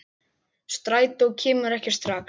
Strætó kemur ekki strax.